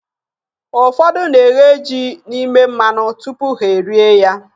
Ụfọdụ na-eghe ji n'ime mmanụ tupu ha e rie ya.